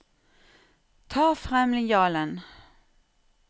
Ta frem linjalen